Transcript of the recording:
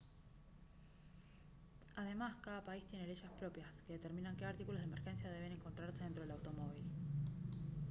además cada país tiene leyes propias que determinan qué artículos de emergencia deben encontrarse dentro del automóvil